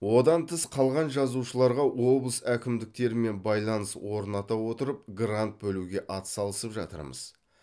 одан тыс қалған жазушыларға облыс әкімдіктерімен байланыс орната отырып грант бөлуге ат салысып жатырмыз